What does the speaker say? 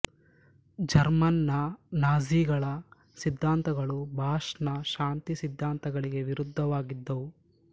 German ನ ನಾಝಿಗಳ ಸಿದ್ಧಾಂತಗಳು ಬಾಷ್ ನ ಶಾಂತಿ ಸಿದ್ಧಾಂತಗಳಿಗೆ ವಿರುದ್ಧವಾಗಿದ್ದವು